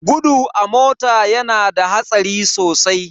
Gudu a mota yana da hatsari sosai.